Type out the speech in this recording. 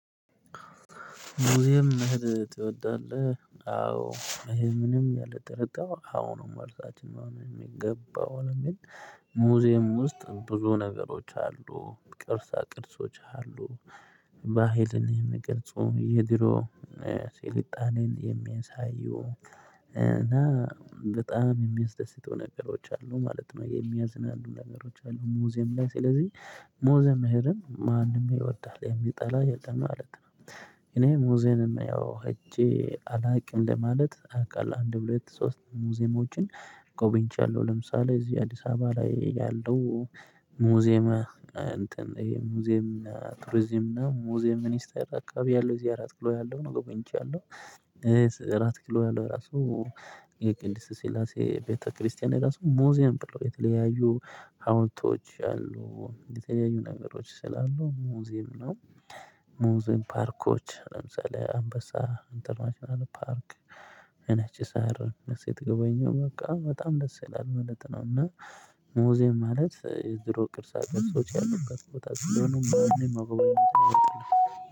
ሙዚየም መሄድ ትወዳልህ አዎ ይሄ ምንም ያለ ጥርር አዎ ነው መልሳችን ማንም የሚገባው አይደል። ሙዚየም ውስጥ ብዙ ነገሮች አሉ ቅርሳ ቅርሶች አሉ። ባህልን የሚገልጹ የድሮ ስልጣኔን የሚንሳዩ እና በጣም የሚያስደስቱ ነገሮች አሉ ማለት ነው የሚያዝናሉ ነገሮች አሉ ሙዚየም ላይ ስለዚህ ሙዚየም ሄደን ማንም ይወዳል የሚጠላ የለም ማለት ነው። እኔ ሙዚየም ያው ሄጄ አላውቅም ለማለት አውቃለሁ አንድ ሁለት ሶስት ሙዚየሞችን ጎብኝቻለሁ። ለምሳሌ እዚህ አዲስ አበባ ላይ ያለው ሙዚየመ እንትን ይሄ ሙዚየም እና ቱርዚየም እና ሙዚየም ሚኒስተር አካባቢ ያለው እዚህ አራት ኪሎ ያለው ነገር ቆይቻለሁ። እራት ኪሎ ያለው ራሱ የቅድስ ሲላሴ ቤተክርስቲያን ራሱ ሙዚየም ብሎ የተለያዩ ሀውልቶች አሉ የተለያዩ ነገሮች ስላሉ ሙዚም ነው። ሙዚም ፓርኮች ለምሳሌ አንበሳ ኢንተርናሽናል ፓርክ ነች ሳር ስትገበኙ በቃ በጣም ደስ ይላል ማለት ነው። እና ሙዜየም ማለት የዝሮ ቅርሳ ቅርሶች ያሉበት ቦታ ሲሆኑ ማንም አባባል አይደለም